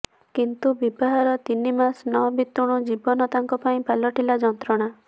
କିନ୍ତୁ ବିବାହର ତିନି ମାସ ନ ବିତୁଣୁ ଜୀବନ ତାଙ୍କ ପାଇଁ ପାଲଟିଲା ଯନ୍ତ୍ରଣା